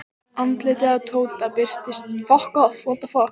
Að þjóna lífinu samkvæmt Guðs vilja er það sama og lifa í samfélagi við aðra.